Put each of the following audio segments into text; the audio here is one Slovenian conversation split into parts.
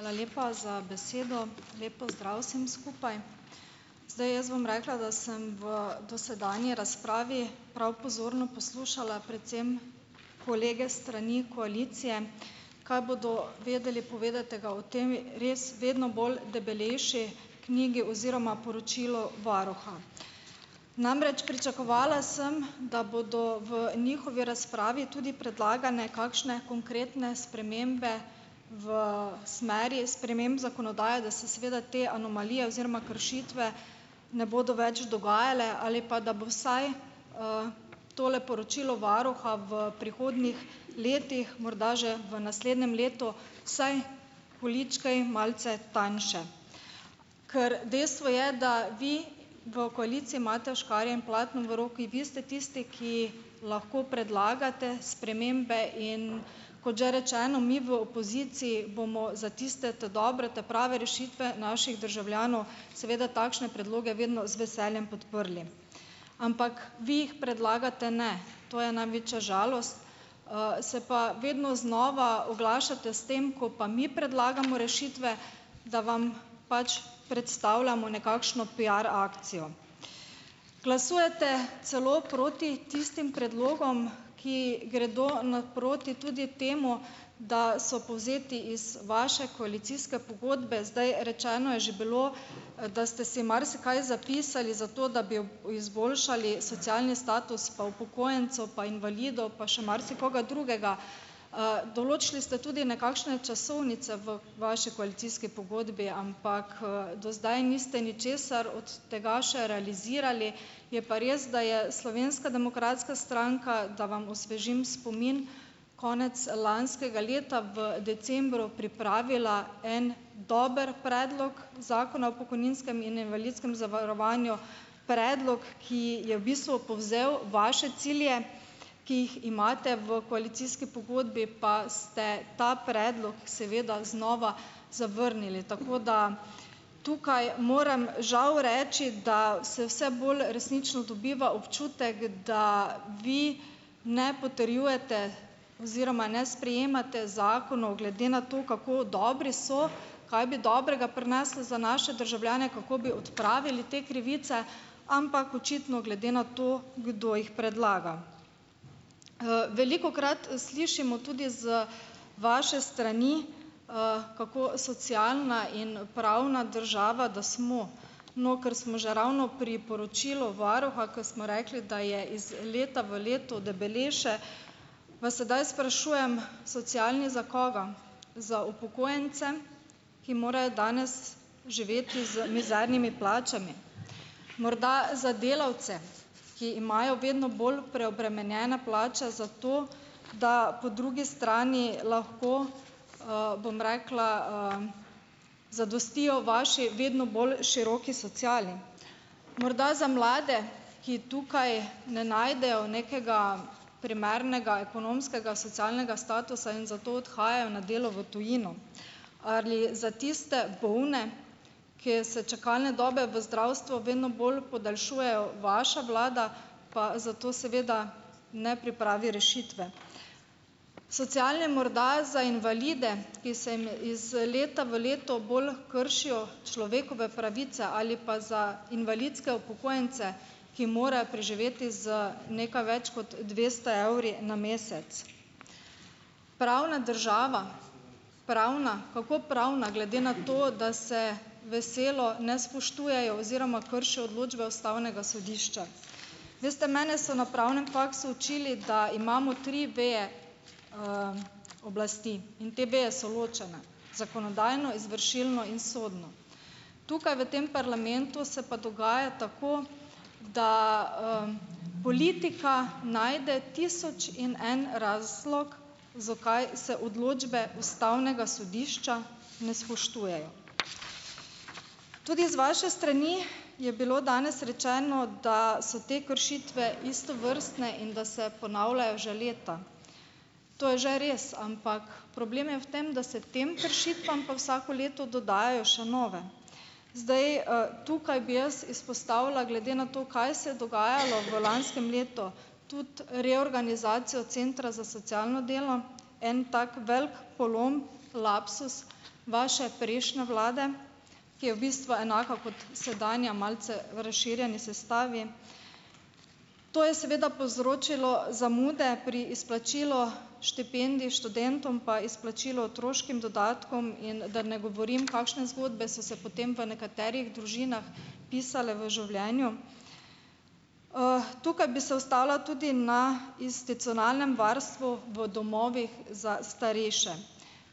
Hvala lepa za besedo, lep pozdrav vsem skupaj, zdaj, jaz bom rekla, da sem v dosedanji razpravi prav pozorno poslušala predvsem kolege strani koalicije, kaj bodo vedeli povedati, tega o temi, res vedno bolj debelejši knjigi oziroma poročilu varuha. Namreč pričakovala sem, da bodo v njihovi razpravi tudi predlagane kakšne konkretne spremembe v smeri sprememb zakonodaje, da se seveda te anomalije oziroma kršitve ne bodo več dogajale ali pa da bo vsaj, tole poročilo varuha v prihodnjih letih morda že v naslednjem letu saj polička in malce tanjše, ker dejstvo je, da vi v koaliciji imate škarje in platno v roki in vi ste tisti, ki lahko predlagate spremembe, in kot že rečeno, mi v opoziciji bomo za tiste ta dobre, ta prave rešitve naših državljanov, seveda takšne predloge vedno z veseljem podprli, ampak vi jih predlagate ne, to je največja žalost, se pa vedno znova oglašate s tem, ko pa mi predlagamo rešitve, da vam pač predstavljamo nekakšno piar akcijo, glasujete celo proti tistim predlogom, ki gredo naproti tudi temu, da so povzeti iz vaše koalicijske pogodbe, zdaj rečeno je že bilo, da ste si marsikaj zapisali zato, da bi izboljšali socialni status pa upokojencev pa invalidov pa še marsikoga drugega, določili ste tudi nekakšne časovnice v vaši koalicijski pogodbi, ampak, do zdaj niste ničesar od tega še realizirali, je pa res, da je Slovenska demokratska stranka, da vam osvežim spomin, konec lanskega leta v decembru pripravila en dober predlog zakona o pokojninske in invalidskem zavarovanju, predlog, ki je v bistvu povzel vaše cilje, ki jih imate v koalicijski pogodbi, pa ste ta predlog seveda znova zavrnili, tako da tukaj moram žal reči, da se vse bolj resnično dobiva občutek, da vi ne potrjujete oziroma ne sprejemate zakonov glede na to, kako dobri so, kaj bi dobrega prineslo za naše državljane, kako bi odpravili te krivice, ampak očitno glede na to, kdo jih predlaga, velikokrat slišimo tudi z vaše strani, kako socialna in pravna država da smo, no, ker smo že ravno pri poročilu varuha, ker smo rekli, da je iz leta v leto debelejše, vas sedaj sprašujem, socialni za koga, za upokojence, ki morajo danes živeti z mizernimi plačami, morda za delavce, ki imajo vedno bolj preobremenjene plače, zato da po drugi strani lahko, bom rekla, zadostijo vaši vedno bolj široki sociali, morda za mlade, ki tukaj ne najdejo nekega primernega ekonomskega socialnega statusa in zato odhajajo na delo v tujino, ali za tiste polne, kje se čakalne dobe v zdravstvu vedno bolj podaljšujejo, vaša vlada pa zato seveda ne pripravi rešitve, socialni morda za invalide, ki se jim iz leta v leto bolj kršijo človekove pravice, ali pa za invalidske upokojence, ki morajo preživeti z nekaj več kot dvesto evri na mesec. Pravne država, pravna, kako pravna, glede na to, da se veselo ne spoštujejo oziroma kršijo odločbe ustavnega sodišča, veste, mene so na pravnem faksu učili, da imamo tri veje, oblasti, in te veje so ločene; zakonodajno, izvršilno in sodno, tukaj v tem parlamentu se pa dogaja tako, da, politika najde tisoč in en razlog, zakaj se odločbe ustavnega sodišča ne spoštujejo, tudi iz vaše strani je bilo danes rečeno, da so te kršitve istovrstne in da se ponavljajo že leta, to je že res, ampak problem je v tem, da se tem kršitvam pa vsako leto dodajajo še nove, zdaj, tukaj bi jaz izpostavila glede na to, kaj se je dogajalo v lanskem letu, tudi reorganizacija centra za socialno delo. En tak velik polom, lapsus vaše prejšnje vlade, ki je v bistvu enaka kot sedanja, malce v razširjeni sestavi, to je seveda povzročilo zamude pri izplačilu štipendij študentom pa izplačilo otroškim dodatkom, in da ne govorim, kakšne zgodbe so se potem v nekaterih družinah pisale v življenju. tukaj bi se ustavila tudi na institucionalnem varstvu, v domovih za starejše,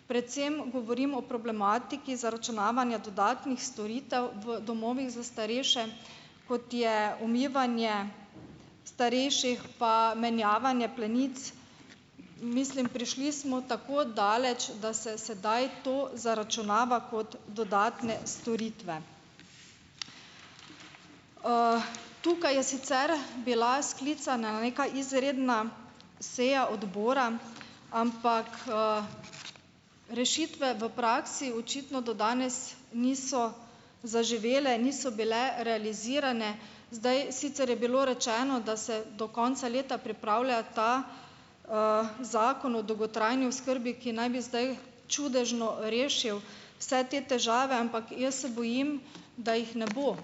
predvsem govorim o problematiki zaračunavanja dodatnih storitev v domovih za starejše, kot je umivanje starejših pa menjavanje plenic, mislim, prišli smo tako daleč, da se sedaj to zaračunava kot dodatne storitve, tukaj je sicer bila sklicana neka izredna seja odbora, ampak, rešitve v praksi očitno do danes niso zaživele, niso bile realizirane, zdaj, sicer je bilo rečeno, da se do konca leta pripravlja ta, zakon o dolgotrajni oskrbi, ki naj bi zdaj čudežno rešil vse te težave, ampak jaz se bojim, da jih ne bo,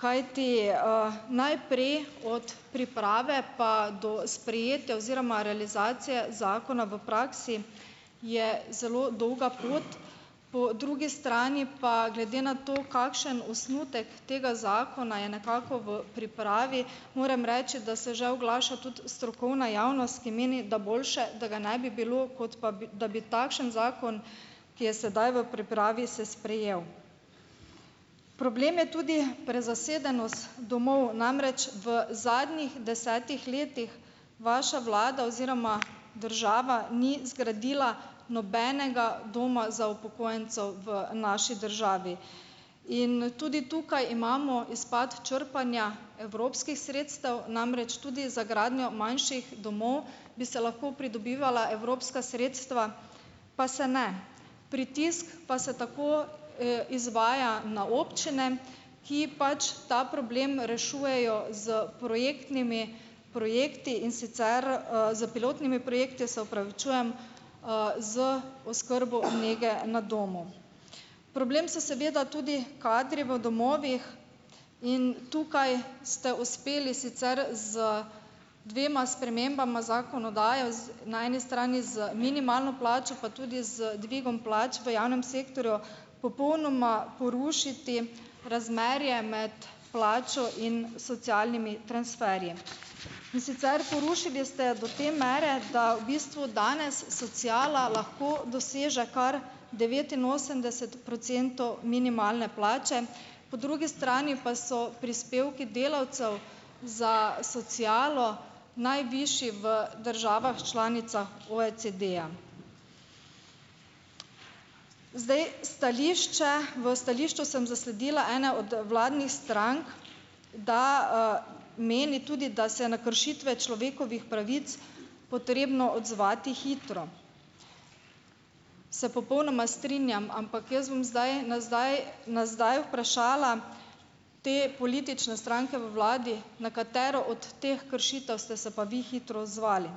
kajti, najprej, od priprave pa do sprejete oziroma realizacije zakona v praksi je zelo dolga pot, po drugi strani pa glede na to, kakšen osnutek tega zakona je nekako v pripravi, moram reči, da se že oglaša tudi strokovna javnost, ki meni, da boljše, da ga ne bi bilo, kot pa bi da bi takšen zakon, ki je sedaj v pripravi, se sprejel, problem je tudi prezasedenost domov, namreč v zadnjih desetih letih vaša vlada oziroma država ni zgradila nobenega doma za upokojence v naši državi in tudi tukaj imamo izpad črpanja evropskih sredstev, namreč tudi za gradnjo manjših domov bi se lahko pridobivala evropska sredstva, pa se ne, pritisk pa se tako, izvaja na občine, ki pač ta problem rešujejo s projektnimi projekti, in sicer, s pilotnimi projekti, se opravičujem, z, z oskrbo nekje na domu, problem so seveda tudi kadri v domovih, in tukaj ste uspeli sicer z dvema spremembama zakonodaje z, na eni strani z minimalno plačo pa tudi z dvigom plač v javnem sektorju popolnoma porušiti razmerje med plačo in socialnimi transferji, in sicer porušili ste do te mere, da v bistvu danes sociala lahko doseže kar devetinosemdeset procentov minimalne plače, po drugi strani pa so prispevki delavcev za socialo najvišji v državah članicah OECD-ja, zdaj, stališče, v stališču sem zasledila ene od vladnih strank da, meni tudi, da se na kršitve človekovih pravic potrebno odzvati hitro. Se popolnoma strinjam, ampak jaz bom zdaj na zdaj na zdaj vprašala te politične stranke v vladi, na katero od teh kršitev ste se pa vi hitro odzvali,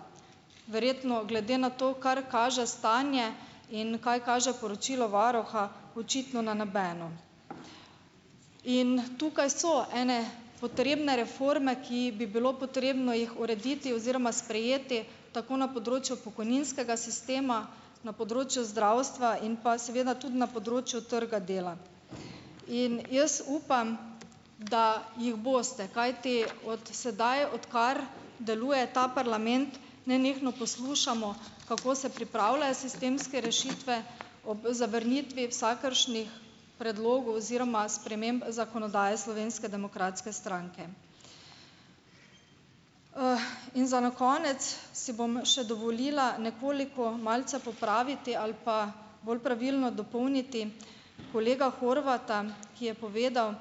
verjetno, glede na to, kar kaže stanje in kaj kaže poročilo varuha, očitno na nobeno, in tukaj so ene potrebne reforme, ki bi bilo potrebno jih urediti oziroma sprejeti tako na področju pokojninskega sistema, na področju zdravstva in pa seveda tudi na področju trga dela, in jaz upam, da jih boste, kajti od sedaj, odkar deluje ta parlament, nenehno poslušamo, kako se pripravljajo sistemske rešitve, ob zavrnitvi vsakršnih predlogov oziroma sprememb zakonodaje Slovenske demokratske stranke. in za na konec si bom še dovolila nekoliko malce popraviti ali pa bolj pravilno dopolniti kolega Horvata, ki je povedal,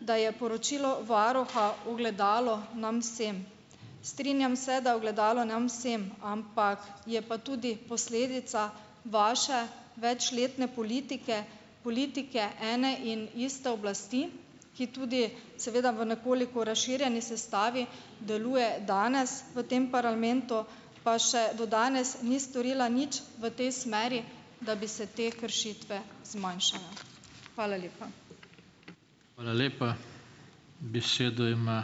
da je poročilo varuha ogledalo nam vsem, strinjam se, da ogledalo nam vsem, ampak je pa tudi posledica vaše večletne politike, politike ene in iste oblasti, ki tudi seveda v nekoliko razširjeni sestavi deluje danes v tem parlamentu, pa še do danes ni storila nič v tej smeri, da bi se te kršitve zmanjšale. Hvala lepa. Hvala lepa, besedo ima ...